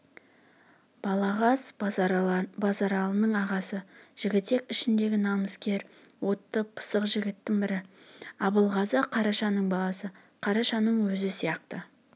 балағаз базаралының ағасы жігітек ішіндегі намыскер отты пысық жігіттің бірі абылғазы қарашаның баласы қарашаның өзі сияқты